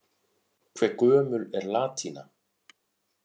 Hve gömul er latína?